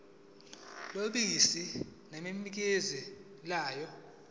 yobisi nemikhiqizo yalo